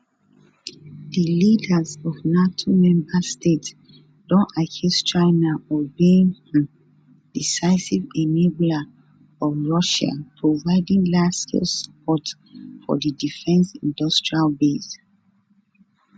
di leaders of nato members states don accuse china of being um decisive enabler of russia providing largescale support for di defence industrial base